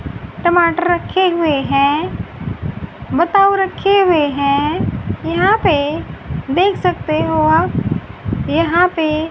टमाटर रखे हुए हैं बताओ रखे हुए हैं। यहां पे देख सकते हो आप यहां पे--